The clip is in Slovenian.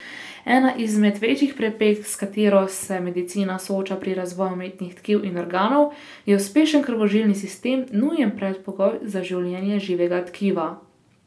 Ena izmed večjih preprek, s katero se medicina sooča pri razvoju umetnih tkiv in organov, je uspešen krvožilni sistem, nujen predpogoj za življenje živega tkiva.